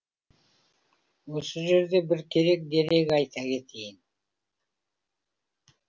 осы жерде бір керек дерек айта кетейін